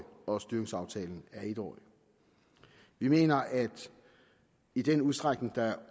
og styringsaftaler er etårige vi mener at i den udstrækning der